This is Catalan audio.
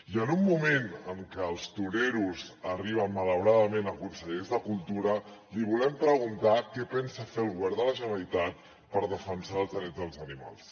i en un moment en què els toreros arriben malauradament a consellers de cultura li volem preguntar què pensa fer el govern de la generalitat per defensar els drets dels animals